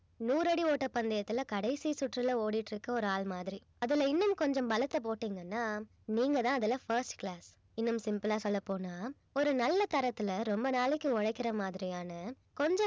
நூறடி ஓட்ட பந்தயத்துல கடைசி சுற்றுலா ஓடிகிட்டிருக்க ஒரு ஆள் மாதிரி அதுல இன்னும் கொஞ்சம் பலத்தை போட்டீங்கன்னா நீங்க தான் அதுல first class இன்னும் simple ஆ சொல்லபோனா ஒரு நல்ல தரத்துல ரொம்ப நாளைக்கு உழைக்கிற மாதிரியான கொஞ்ச